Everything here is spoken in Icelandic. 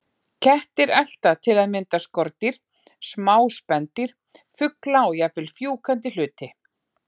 Kettir elta til að mynda skordýr, smá spendýr, fugla og jafnvel fjúkandi hluti.